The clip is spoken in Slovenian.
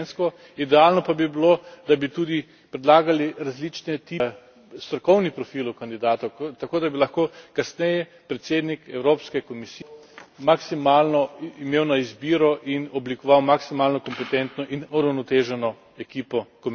Idealno pa bi bilo, da bi tudi predlagale različne tipe strokovnih profilov kandidatov, tako da bi lahko kasneje predsednik Evropske komisije maksimalno imel na izbiro in oblikoval maksimalno kompetentno in uravnoteženo ekipo komisarjev.